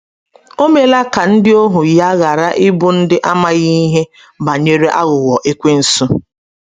O meela ka ndị ohu ya ghara ịbụ ndị amaghị ihe banyere aghụghọ Ekwensu.